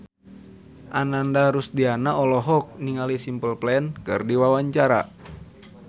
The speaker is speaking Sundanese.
Ananda Rusdiana olohok ningali Simple Plan keur diwawancara